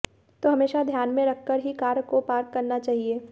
तो हमेशा ध्यान में रखकर ही कार को पार्क करना चाहिए